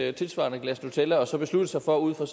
et tilsvarende glas nutella og så besluttet sig for ud fra